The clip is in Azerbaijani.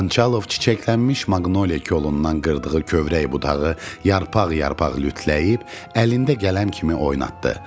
Xançalov çiçəklənmiş maqnoliyə kolundan qırdığı kövrək budağı yarpaq-yarpaq lütləyib əlində qələm kimi oynatdı.